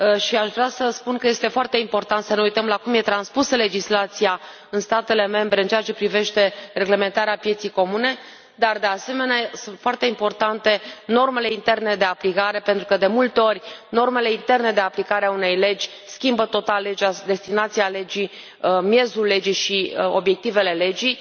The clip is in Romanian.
Aș vrea să spun că este foarte important să ne uităm la cum e transpusă legislația în statele membre în ceea ce privește reglementarea pieței comune, dar, de asemenea, sunt foarte importante normele interne de aplicare, pentru că de multe ori normele interne de aplicare a unei legi schimbă total legea, destinația legii, miezul legii și obiectivele legii.